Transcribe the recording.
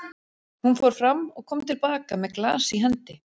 Hún fór fram og kom til baka með glas í hendi.